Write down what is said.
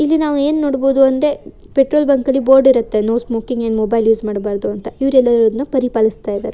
ಇಲ್ಲಿ ನಾವು ಏನು ನೋಡಬೋದು ಅಂದ್ರೆ ಪೆಟ್ರೋಲ್ ಬಂಕ್ ಲಿ ಬೋರ್ಡ್ ಇರುತ್ತೆ ನೋ ಸ್ಮೋಕಿಂಗ್ ಮೊಬೈಲ್ ಯೂಸ್ ಮಾಡಬಾರದು ಅಂತ ಇವರೆಲ್ಲ ಅದನ್ನು ಪರಿಪಾಲಿಸ್ತಾ ಇದ್ದಾರೆ.